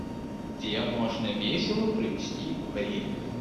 где можно весело провести время